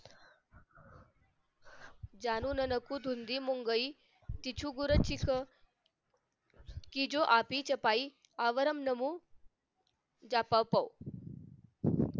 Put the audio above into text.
जणू न नको हरी मुंगई टिचू बुर चिख कि जो आपि छपाई आवराम नमु जपपो